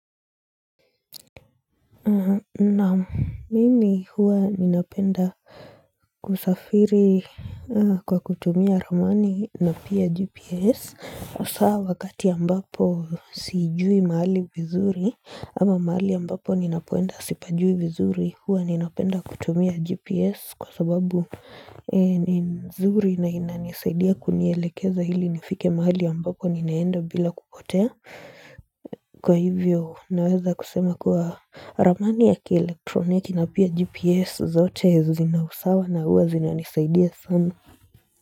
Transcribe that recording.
Naam mimi huwa ninapenda kusafiri kwa kutumia ramani na pia gps Asaa wakati ambapo siijui mahali vizuri ama mahali ambapo ninapoenda sipajui vizuri huwa ninapenda kutumia gps kwa sababu ni nzuri na inanisaidia kunielekeza hili nifike mahali ambapo ninaenda bila kupotea Kwa hivyo naweza kusema kuwa ramani ya kielektroniki na pia gps zote zina usawa na huwa zinaanisaidia sana.